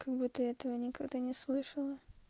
как будто я этого никогда не слышала